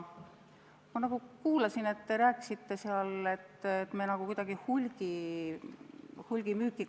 Ma nagu kuulsin, et te rääkisite seal, et me kuidagi piirame hulgimüüki.